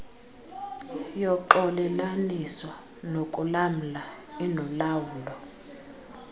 yoxolelaniso nokulamla inolawulo